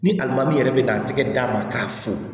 Ni alima yɛrɛ be na a tigi d'a ma k'a fo